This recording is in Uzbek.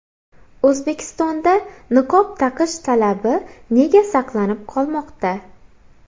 O‘zbekistonda niqob taqish talabi nega saqlanib qolmoqda?